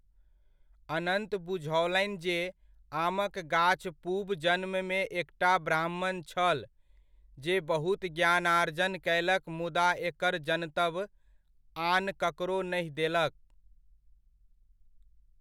अनन्त बुझओलनि जे आमक गाछ पूब जन्ममे एकटा ब्राह्मण छल जे बहुत ज्ञानार्जन कयलक मुदा एकर जनतब आन ककरो नहि देलक।